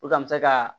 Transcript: O ka misa ka